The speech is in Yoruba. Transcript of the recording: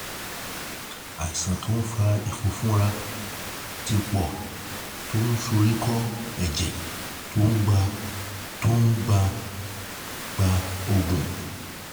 àìsàn tó ń fa ìfunfunra ti pọ̀ to n soríkọ́ ẹ̀jẹ̀ tó n gba tó ń gba gba oògùn